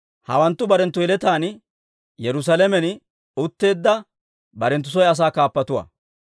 Hawanttu barenttu yeletaan Yerusaalamen utteedda barenttu soy asaa kaappatuwaa.